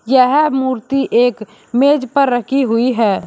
यह मूर्ति एक मेज पर रखी हुई है।